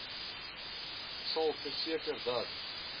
sal verseker dat